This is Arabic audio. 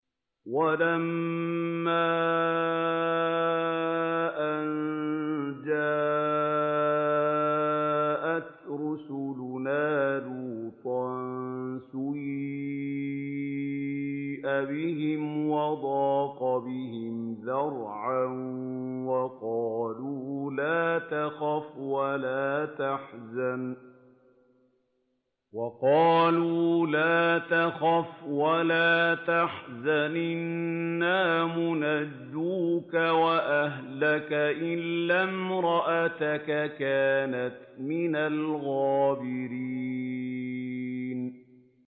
وَلَمَّا أَن جَاءَتْ رُسُلُنَا لُوطًا سِيءَ بِهِمْ وَضَاقَ بِهِمْ ذَرْعًا وَقَالُوا لَا تَخَفْ وَلَا تَحْزَنْ ۖ إِنَّا مُنَجُّوكَ وَأَهْلَكَ إِلَّا امْرَأَتَكَ كَانَتْ مِنَ الْغَابِرِينَ